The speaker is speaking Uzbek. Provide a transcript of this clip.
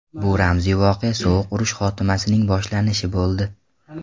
Bu ramziy voqea sovuq urush xotimasining boshlanishi bo‘ldi.